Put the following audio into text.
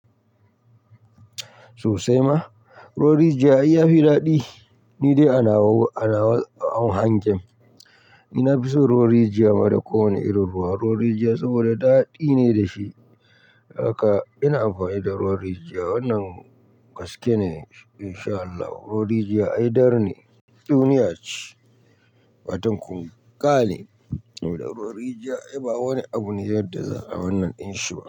Sosai ma, ruwan rijiya ai yafi daɗi. Ni dai ana ana hau hanjen, ni na fison ruwan rijiya ma da kowane irin ruwa. Ruwan rijiya saboda daɗi ne dashi, haka ina amfani da ruwan rijiya. Wannan gaske ne insha Allah. Ruwan rijiya ai dar ne, duniyace, fatan ƙunga ne. Ruwan rijiya ai ba wani abu ne yadda za'a. Wannan inshi ba.